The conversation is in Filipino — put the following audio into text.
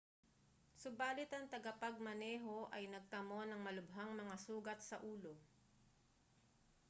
subali't ang tagapagmaneho ay nagtamo ng malubhang mga sugat sa ulo